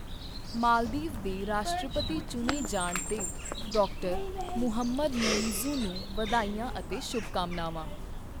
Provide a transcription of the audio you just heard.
ਮਾਲਦੀਵ ਦੇ ਰਾਸ਼ਟਰਪਤੀ ਚੁਣੇ ਜਾਣ ਤੇ ਡਾ. ਮੁਹੰਮਦ ਮੁਇੱਜ਼ੂ ਨੂੰ ਵਧਾਈਆਂ ਅਤੇ ਸ਼ੁਭਕਾਮਨਾਵਾਂ।